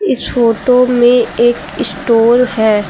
इस फोटो में एक स्टोर है।